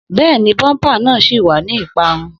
Bẹ́ẹ̀ni, bumper náà ṣì wà ní ìparun